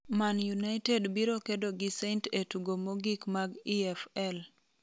Man United biro kedo gi Saint e tugo mogik mag EFL